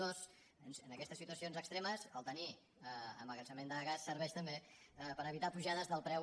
dos en aquestes situa·cions extremes tenir emmagatzemament de gas ser·veix també per evitar·ne pujades de preu